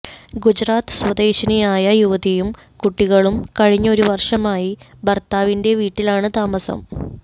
ഗുജറാത്ത് സ്വദേശിനിയായ യുവതിയും കുട്ടികളും കഴിഞ്ഞ ഒരു വർഷമായി ഭർത്താവിന്റെ വീട്ടിലാണ് താമസം